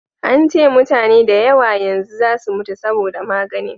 an ce mutane da yawa yanzu za su mutu saboda maganin